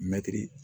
Mɛtiri